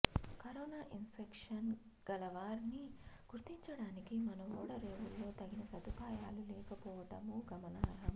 corona infection గలవారిని గుర్తించటానికి మన ఓడరేవుల్లో తగిన సదుపాయాలు లేకపోవటమూ గమనార్హం